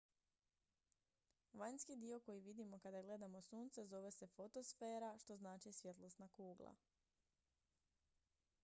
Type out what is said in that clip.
"vanjski dio koji vidimo kada gledamo sunce zove se fotosfera što znači "svjetlosna kugla"".